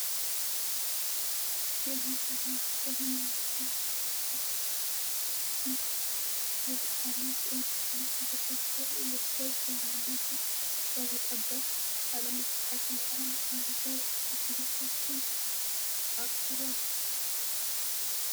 የመፃና ግጅቶች የአመጤን በድግደ በደጅ በይንመትን ላተጠበት አለመቀት ያን አንገር ቀነቶችን አክረ